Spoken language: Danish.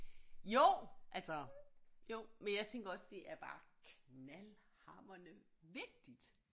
Jo altså jo men jeg tænker også det er bare knaldhamrende vigtigt